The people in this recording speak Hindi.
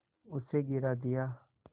उसे गिरा दिया